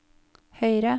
høyre